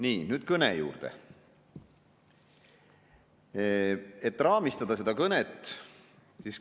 Nii, nüüd kõne juurde, raamistada.